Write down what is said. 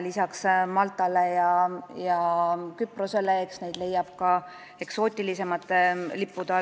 Lisaks Maltale ja Küprosele leiab neid ka eksootilisemate lippude alt.